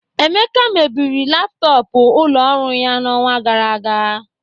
Emeka mebiri laptọọpụ ụlọ ọrụ ya n'ọnwa gara aga.